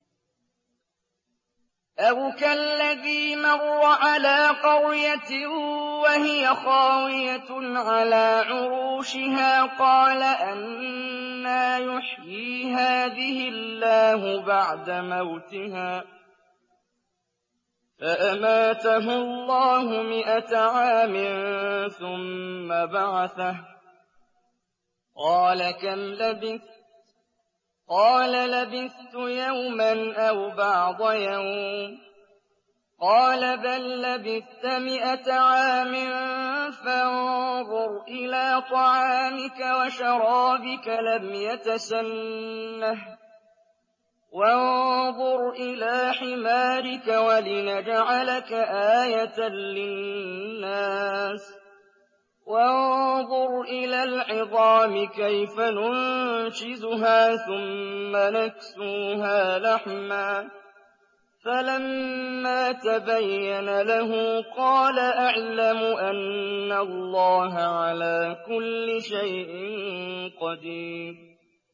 أَوْ كَالَّذِي مَرَّ عَلَىٰ قَرْيَةٍ وَهِيَ خَاوِيَةٌ عَلَىٰ عُرُوشِهَا قَالَ أَنَّىٰ يُحْيِي هَٰذِهِ اللَّهُ بَعْدَ مَوْتِهَا ۖ فَأَمَاتَهُ اللَّهُ مِائَةَ عَامٍ ثُمَّ بَعَثَهُ ۖ قَالَ كَمْ لَبِثْتَ ۖ قَالَ لَبِثْتُ يَوْمًا أَوْ بَعْضَ يَوْمٍ ۖ قَالَ بَل لَّبِثْتَ مِائَةَ عَامٍ فَانظُرْ إِلَىٰ طَعَامِكَ وَشَرَابِكَ لَمْ يَتَسَنَّهْ ۖ وَانظُرْ إِلَىٰ حِمَارِكَ وَلِنَجْعَلَكَ آيَةً لِّلنَّاسِ ۖ وَانظُرْ إِلَى الْعِظَامِ كَيْفَ نُنشِزُهَا ثُمَّ نَكْسُوهَا لَحْمًا ۚ فَلَمَّا تَبَيَّنَ لَهُ قَالَ أَعْلَمُ أَنَّ اللَّهَ عَلَىٰ كُلِّ شَيْءٍ قَدِيرٌ